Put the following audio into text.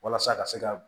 Walasa ka se ka